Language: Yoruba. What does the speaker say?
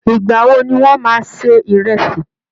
Ìgbà wo ni wọ́n máa se ìrẹ̀sì?